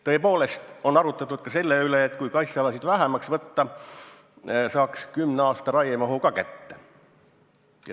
Tõepoolest on arutletud ka selle üle, et kui kaitsealasid vähemaks võtta, saaks kümne aasta raiemahu kätte.